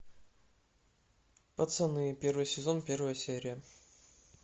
пацаны первый сезон первая серия